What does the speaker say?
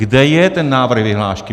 Kde je ten návrh vyhlášky?